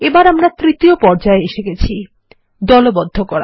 এবারএখন তৃতীয় পর্যায়ে এসে গেছি দলবদ্ধ করা